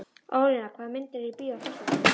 Ólína, hvaða myndir eru í bíó á föstudaginn?